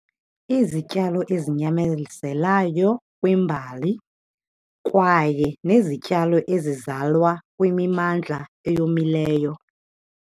Izityalo ezinyamezelayo kwimbali kwaye nezityalo ezizalwa kwimimmandla eyomileyo.